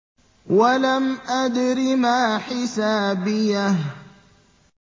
وَلَمْ أَدْرِ مَا حِسَابِيَهْ